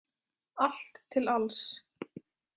Allt til alls.